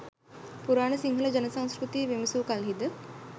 පුරාණ සිංහල ජන සංස්කෘතිය විමසූ කල්හිද